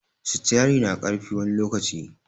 Sitiari na ƙarfi wani lokaci